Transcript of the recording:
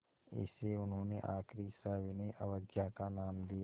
इसे उन्होंने आख़िरी सविनय अवज्ञा का नाम दिया